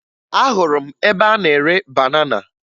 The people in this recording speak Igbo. Ahụrụ m ebe a na-ere banana